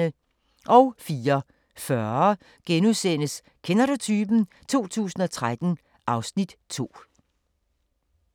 04:40: Kender du typen? 2013 (Afs. 2)*